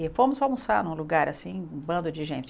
E fomos almoçar num lugar, assim, um bando de gente.